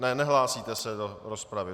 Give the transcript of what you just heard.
Ne, nehlásíte se do rozpravy.